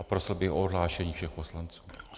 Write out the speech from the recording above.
A prosil bych o odhlášení všech poslanců.